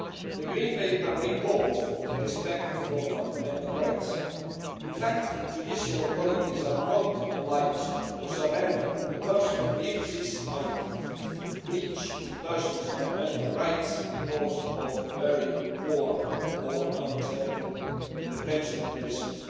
The Green Paper recalls respect for fundamental rights. In fact, judicial authorities are not obliged to surrender a person if this might breach the person's fundamental rights because of very poor or unacceptable detention conditions.